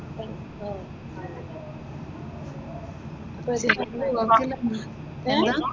എന്താ?